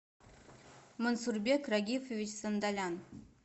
мансурбек рагифович сандалян